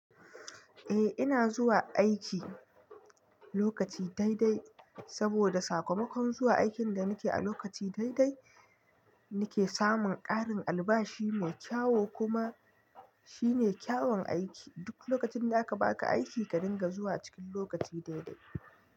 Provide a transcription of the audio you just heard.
Eh ina zuwa aiki lokaci daidai, saboda sakamakon zuwa aikin da nike a lokaci daidai nike samun ƙarin albashi mai kyau kuma shine kyawun aiki. Duk lokacin da aka baka aiki ka dinga zuwa cikin lokaci daidai.